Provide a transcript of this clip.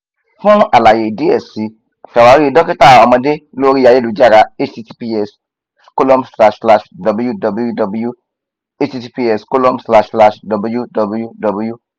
fun alaye diẹ sii ṣawari dokita ọmọde lori ayelujara https colon slash slash www https colon slash slash www